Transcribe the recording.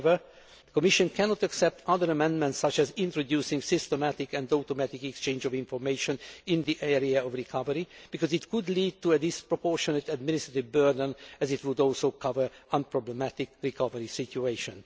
text. However, the Commission cannot accept other amendments, such as introducing systematic and automatic exchange of information in the area of recovery, because it could lead to a disproportionate administrative burden, as it would also cover unproblematic recovery situations.